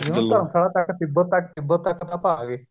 ਤਿੱਬਤ ਤੱਕ ਤਿੱਬਤ ਤੱਕ ਆ ਗਏ